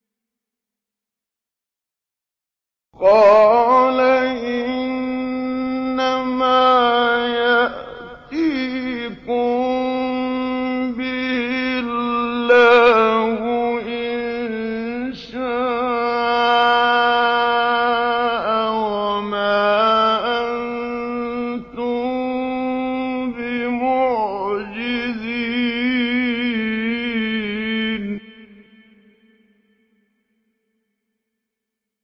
قَالَ إِنَّمَا يَأْتِيكُم بِهِ اللَّهُ إِن شَاءَ وَمَا أَنتُم بِمُعْجِزِينَ